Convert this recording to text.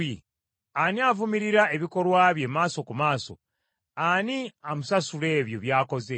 Ani avumirira ebikolwa bye maaso ku maaso, ani amusasula ebyo by’akoze?